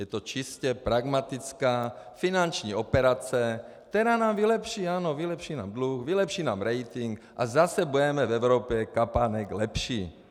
Je to čistě pragmatická finanční operace, která nám vylepší, ano, vylepší nám dluh, vylepší nám rating a zase budeme v Evropě kapánek lepší.